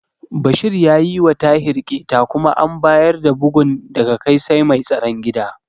Bashir ya yiwa Tahir ƙyeta kuma an bayar da bugun daga kai sai mai tsaron gida.